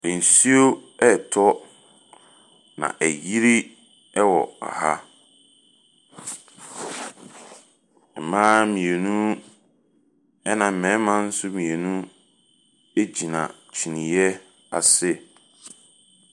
Nsuo retɔ, na ayiri wɔ ɛha. Mmaa mmienu, ɛna mmarima nso mmienu gyina kyiniiɛ ase.